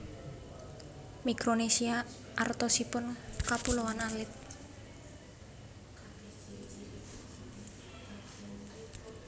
Mikronesia artosipun kapuloan alit